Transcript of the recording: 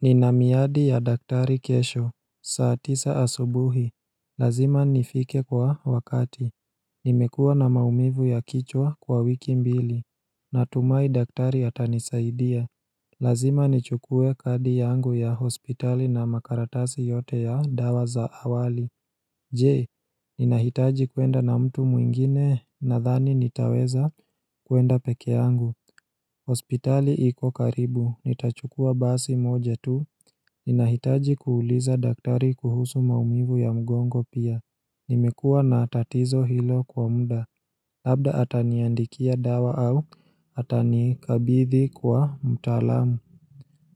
Nina miadi ya daktari kesho, saa tisa asubuhi Lazima nifike kwa wakati Nimekua na maumivu ya kichwa kwa wiki mbili Natumai daktari atanisaidia. Lazima nichukue kadi yangu ya hospitali na makaratasi yote ya dawa za awali Jee, ninahitaji kwenda na mtu mwingine nadhani nitaweza kwenda peke yangu hospitali iko karibu, nitachukua basi moja tu, ninahitaji kuuliza daktari kuhusu maumivu ya mgongo pia Nimekua na atatizo hilo kwa mda, labda ataniandikia dawa au, atanikabithi kwa mtalamu